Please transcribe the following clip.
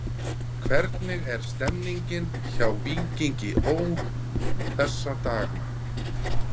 Hvernig er stemningin hjá Víkingi Ó. þessa dagana?